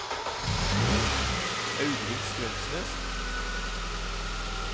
Audhild Strømsnes